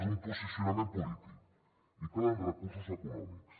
és un posicionament polític i calen recursos econòmics